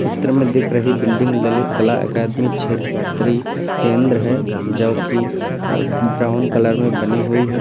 चित्र में दिख रही बिल्डिंग ललित कला अकादमी क्षेत्रीय केंद्र है जो कि अह ब्राउन कलर में बनी हुई है।